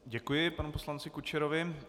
Děkuji panu poslanci Kučerovi.